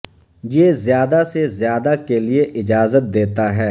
یہ زیادہ سے زیادہ کے لئے اجازت دیتا ہے